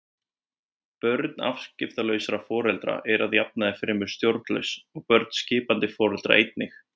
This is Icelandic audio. Börn afskiptalausra foreldra eru að jafnaði fremur stjórnlaus og börn skipandi foreldra einnig.